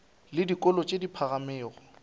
le dikolong tše di phagamego